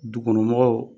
Du kɔnɔ mɔgɔw